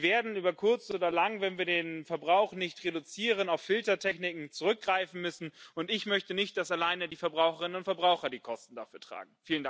Wir werden über kurz oder lang, wenn wir den Verbrauch nicht reduzieren, auf Filtertechniken zurückgreifen müssen, und ich möchte nicht, dass allein die Verbraucherinnen und Verbraucher die Kosten dafür tragen.